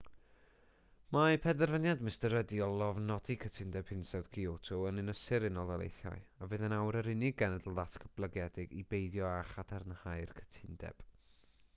mae penderfyniad mr rudd i lofnodi cytundeb hinsawdd kyoto yn ynysu'r unol daleithiau a fydd yn awr yr unig genedl ddatblygedig i beidio â chadarnhau'r cytundeb